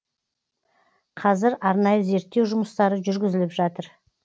қазір арнайы зерттеу жұмыстары жүргізіліп жатыр